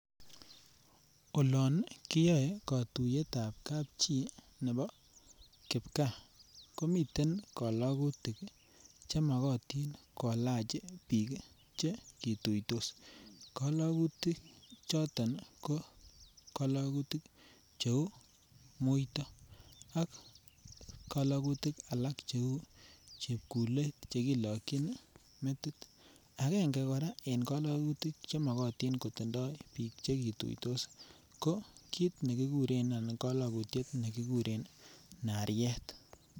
Olon koyoe kotuyetap kapchi nebo kipkaa komiten kolokutik che mokotin kolach biik che kituitos, kolokutik choton ko kolokutik che uu muito ak kolokutik alak che uu chepkulet che kilokyin metit. Angenge koraa en kolokutik che nyoluu kotindo biik che kituitos ko kit nekiguren anan kolokutien ne kiguren nariet.